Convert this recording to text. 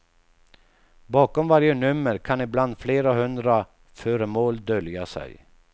Bakom varje nummer kan ibland flera hundra föremål dölja sig.